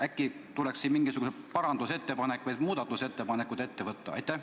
Äkki tuleks siin mingi parandusettepanek või muudatusettepanek teha?